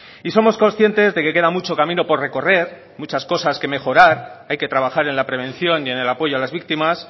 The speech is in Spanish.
somos conscientes de que queda mucho camino por recorrer muchas cosas por mejorar hay que trabajar en la prevención y en el apoyo a las víctimas